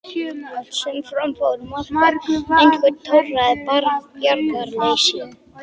Allt sem fram fór var markað einhverju torráðu bjargarleysi.